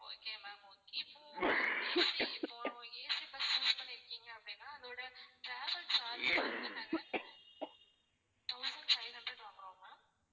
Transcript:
okay ma'am okay இப்போ AC இப்போ AC bus choose பண்ணிருக்கீங்க அப்படின்னா அதோட travel charge வந்து நாங்க thousand five hundred வாங்குறோம் ma'am